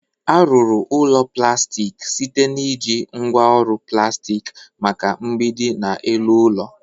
A ruru ulo plastik site na iji ngwa oru plastik maka mgbidi na elu ụlọ.